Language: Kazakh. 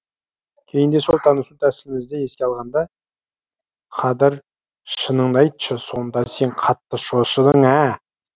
кейінде сол танысу тәсілімізді еске алғанда қадыр шыныңды айтшы сонда сен қатты шошыдың ә